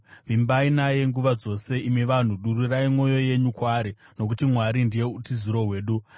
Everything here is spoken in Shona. Vimbai naye nguva dzose, imi vanhu; dururai mwoyo yenyu kwaari, nokuti Mwari ndiye utiziro hwedu. Sera